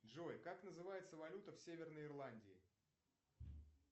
джой как называется валюта в северной ирландии